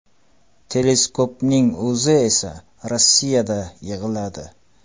Teleskopning o‘zi esa Rossiyada yig‘iladi.